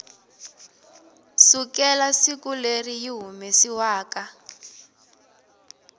sukela siku leri yi humesiwaku